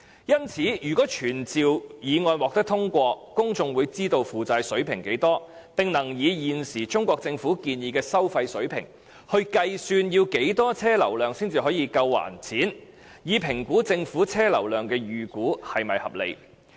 因此，如果傳召議案獲得通過，公眾便會知道負債水平，並能以現時中國政府建議的收費水平計算要多少車輛流量才足以償還債務，以及評估政府的車輛流量預估是否合理。